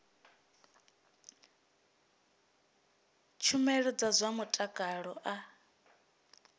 tshumelo dza zwa mutakalo a